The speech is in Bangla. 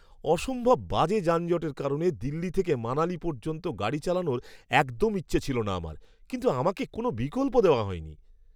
অসম্ভব বাজে যানজটের কারণে দিল্লি থেকে মানালী পর্যন্ত গাড়ি চালানোর একদম ইচ্ছে ছিল না আমার, কিন্তু আমাকে কোনও বিকল্প দেওয়া হয়নি!